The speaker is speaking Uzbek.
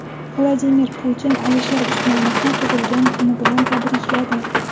Vladimir Putin Alisher Usmonovni tug‘ilgan kuni bilan tabrikladi.